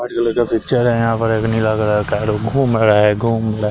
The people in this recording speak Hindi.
हर कलर का पिक्चर है यहां पर एक नीला कलर का है और वो घूम रहा है घूम --